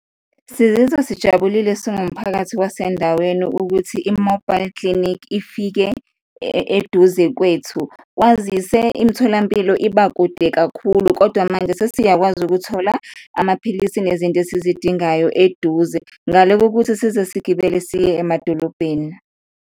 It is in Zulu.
Sizizwa sijabulile singumphakathi wasendaweni ukuthi i-mobile clinic ifike eduze kwethu, kwazise imitholampilo iba kude kakhulu kodwa manje sesiyakwazi ukuthola amaphilisi nezinto esizidingayo eduze ngale kokuthi size sigibele siye emadolobheni.